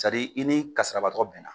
i ni kasarabaatɔ bɛnna